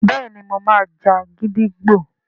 béèni mọ má jà gídígbò.